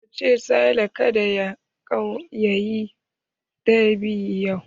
Ka ce ma Sale ka da ya yi dab'i yau!